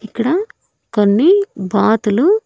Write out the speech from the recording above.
ఇక్కడ కొన్ని బాతులు.